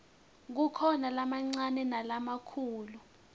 kukhona lamancane nalamakhulu